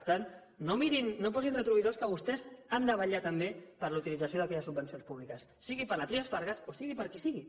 per tant no posin retrovisors que vostès han de vetllar també per la utilització d’aquelles subvencions públiques sigui per la trias fargas o sigui per qui sigui